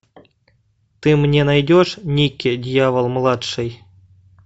ты мне найдешь никки дьявол младший